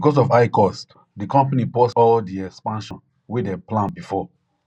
because of high cost di company pause all di expansion wey dem plan before